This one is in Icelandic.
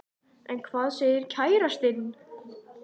En hvað segir kærastinn?